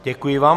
Děkuji vám.